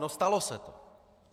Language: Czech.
No, stalo se to.